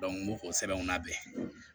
n b'o sɛbɛnw labɛn